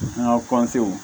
An ka